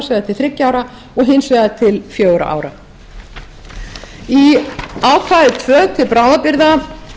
til þriðja ára og hins vegar til fjögurra ára í ákvæði tvö til bráðabirgða